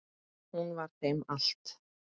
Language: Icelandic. Hún var þeim allt.